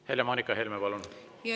Helle-Moonika Helme, palun!